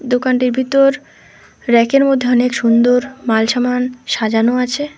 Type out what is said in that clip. দোকানটির ভিতর র‍্যাক -এর মধ্যে অনেক সুন্দর মাল সামান সাজানো আছে।